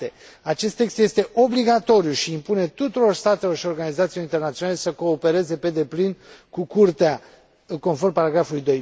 7. Acest text este obligatoriu și impune tuturor statelor și organizațiilor internaționale să coopereze pe deplin cu Curtea, conform paragrafului